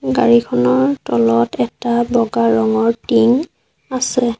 গাড়ীখনৰ তলত এটা বগা ৰঙৰ টিং আছে।